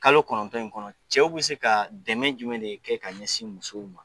Kalo kɔnɔntɔn in kɔnɔ cɛw bɛ se ka dɛmɛ jumɛn de kɛ ka ɲɛsin musow ma